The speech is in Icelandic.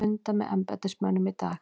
Funda með embættismönnum í dag